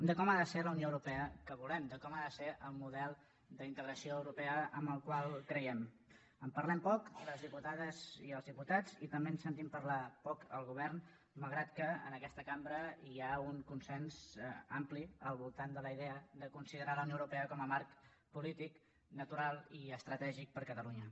de com ha de ser la unió europea que volem de com ha de ser el model d’integració europea en el qual creiem en parlem poc les diputades i els diputats i també en sentim parlar poc al govern malgrat que en aquesta cambra hi ha un consens ampli al voltant de la idea de considerar la unió europea com a marc polític natural i estratègic per catalunya